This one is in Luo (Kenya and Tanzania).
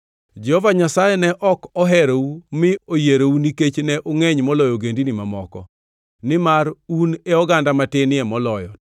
Jehova Nyasaye ne ok oherou mi oyierou nikech ne ungʼeny moloyo ogendini mamoko, nimar un e oganda matinie moloyo,